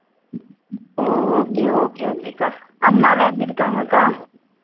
ஓ okay okay க்கா அம்மா எல்லாம் எப்படி இருக்காங்க அக்கா